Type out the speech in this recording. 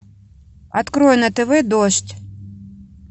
открой на тв дождь